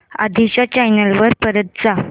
आधी च्या चॅनल वर परत जा